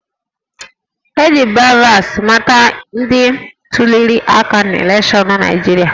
E ji BVAS mata ndị tuliri aka n'elekshọnụ Naịjirịa